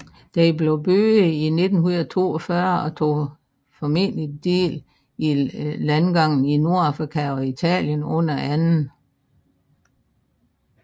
Den blev bygget i 1942 og tog formentlig del i landgangene i Nordafrika og Italien under 2